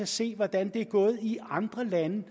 se hvordan det er gået i andre lande